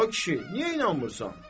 Ay kişi, niyə inanmırsan?